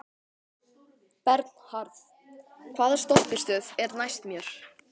Bernharð, hvaða stoppistöð er næst mér?